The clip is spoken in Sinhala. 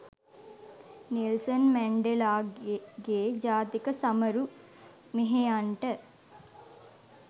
නෙල්සන් මැන්ඩෙලාගේ ජාතික සමරු මෙහෙයන්ට